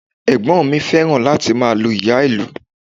Ẹ̀gbọ́n mi fẹ́ràn láti máa lu ìyá-ìlù